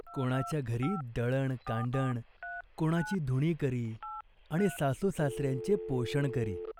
कोणाच्या घरी दळणकांडण, कोणाची धुणी करी आणि सासूसासऱ्यांचे पोषण करी.